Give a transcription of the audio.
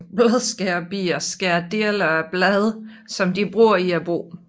Bladskærerbier skærer dele af blade som de bruger i boet